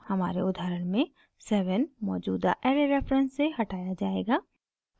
हमारे उदाहरण में 7 मौजूदा ऐरे रेफरेंस से हटाया जायेगा